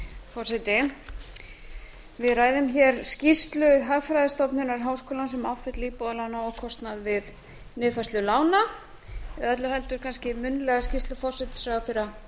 forseti við ræðum hér skýrslu hagfræðistofnun háskólans um afföll íbúðarlána og kostnað við niðurfærslu lána öllu heldur kannski munnlega skýrslu forsætisráðherra